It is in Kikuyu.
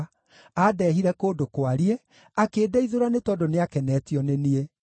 Andeehire kũndũ kwariĩ; akĩndeithũra nĩ tondũ nĩakenetio nĩ niĩ.